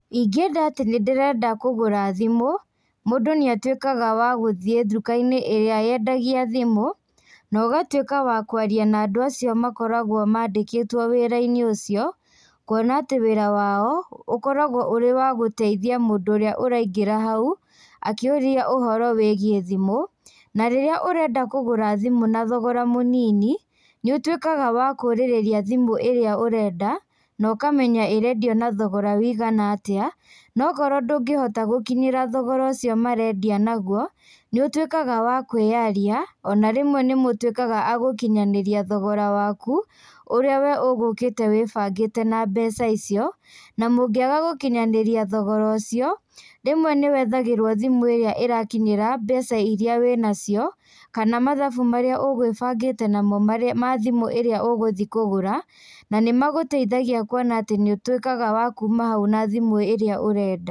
Ingĩenda atĩ nĩndĩrenda kũgũra thimũ, mũndũ nĩatuĩkaga wa gũthiĩ ndukainĩ ĩrĩa yendagia thimũ, na ũgatuĩka wa kwaria na andũ acio makoragwo mandĩkĩtwo wĩrainĩ ũcio, kuona atĩ wĩra wao, ũkoragwo ũrĩ wa gũteithia mũndũ ũrĩa ũraingĩra hau, akĩũria ũhoro wĩgiĩ thimũ, na rĩrĩa ũrenda kũgũra thimũ na thogora mũnini, nĩũtuĩkaga wa kũrĩrĩria thimũ ĩrĩa ũrenda, na ũkamenya ĩrendio na thogora wĩigana atĩa, nakorwo ndũngĩhota gũkinyĩra thogora ũcio marendia naguo, nĩũtuĩkaga wa kwĩyaria, ona rĩmwe nĩmũtuĩkaga a gũkinyanĩria thogora waku, ũrĩa we ũgũkĩte wĩbangĩte na mbeca icio, na mũngĩaga gũkinyanĩria thogora ũcio, rĩmwe nĩwethagĩrwo thimũ ĩrĩa ĩrakinyĩra mbeca iria wĩnacio, kana mathabu marĩa ũgwĩbangĩte namo marĩa mathimũ ĩrĩa ũgũthiĩ kũgũra, na nĩmagũteithagia kuona atĩ nĩũtuĩkaga wa kuma hau na thimũ ĩrĩa ũrenda.